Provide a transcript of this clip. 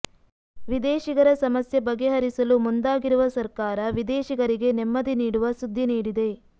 ವಿದೇಶಿಗರ ಸಮಸ್ಯೆ ಬಗೆಹರಿಸಲು ಮುಂದಾಗಿರುವ ಸರ್ಕಾರ ವಿದೇಶಿಗರಿಗೆ ನೆಮ್ಮದಿ ನೀಡುವ ಸುದ್ದಿ ನೀಡಿದೆ